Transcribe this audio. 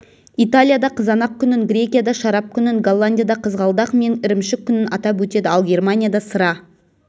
италияда қызанақ күнін грекияда шарап күнін голландияда қызғалдақ мен ірімшік күнін атап өтеді ал германияда сыра